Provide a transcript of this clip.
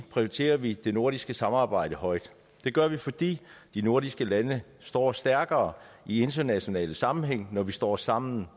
prioriterer vi det nordiske samarbejde højt det gør vi fordi de nordiske lande står stærkere i internationale sammenhæng når vi står sammen